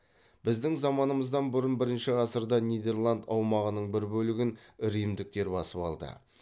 біздің заманымыздан бұрын бірінші ғасырда нидерланд аумағының бір бөлігін римдіктер басып алды